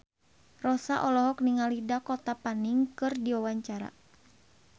Rossa olohok ningali Dakota Fanning keur diwawancara